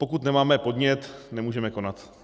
Pokud nemáme podnět, nemůžeme konat.